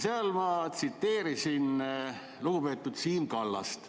Seal ma tsiteerisin lugupeetud Siim Kallast.